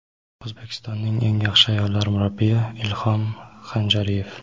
"O‘zbekistonning eng yaxshi ayollar murabbiyi"— Ilhom Hanjariyev.